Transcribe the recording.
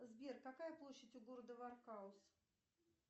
сбер какая площадь у города вархаус